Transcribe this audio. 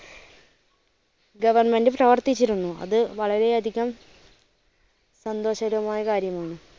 government പ്രവർത്തിച്ചിരുന്നു. അത് വളരെ അധികം സന്തോഷകരമായ കാര്യമാണ്.